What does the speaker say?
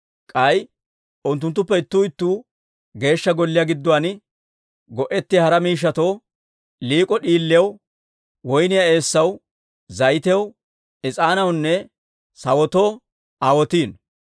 K'ay unttuttuppe ittuu ittuu Geeshsha Golliyaa gidduwaan go'ettiyaa hara miishshatoo, liik'o d'iiliyaw, woyniyaa eessaw, zayitiyaw, is'aanaawunne sawotoo aawotiino.